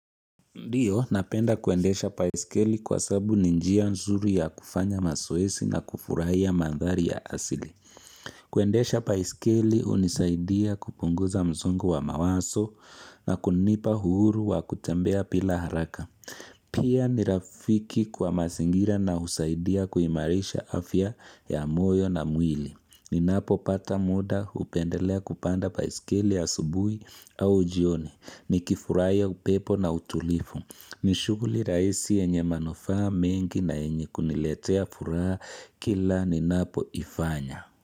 Ndiyo, napenda kuendesha paisikeli kwa sabu ni njia nzuri ya kufanya masoesi na kufurahia mandhari ya asili. Kuendesha paisikeli unisaidia kupunguza msongo wa mawaso na kunipa uhuru wa kutembea pila haraka. Pia ni rafiki kwa masingira na usaidia kuimarisha afya ya moyo na mwili. Ninapopata muda upendelea kupanda paisikeli ya asubuhi au jioni. Nikifurahia upepo na utulifu. Ni shuguli rahisi yenye manufaa mengi na yenye kuniletea furaha kila ninapoifanya.